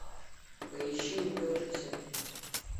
поищи увлекшиеся